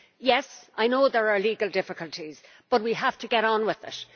Yes, I know there are legal difficulties, but we have to get on with it.